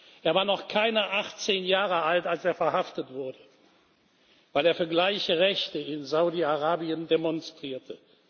Er war noch keine 18 Jahre alt, als er verhaftet wurde, weil er für gleiche Rechte in Saudi Arabien demonstrierte.